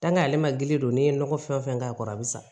ale ma gili don n'i ye nɔgɔ fɛn o fɛn k'a kɔrɔ a bɛ sa